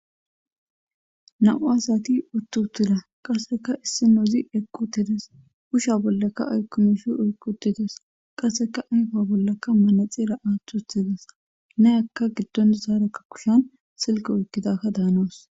Nau asati uttu utila qaseka issi nozi ekqutides usha bollaka aykkumishi eykqutides qaseka ayfa bollakka manexira'aathu utides ne aka giddonzaarakka kushan silke oykkidaka daanoos.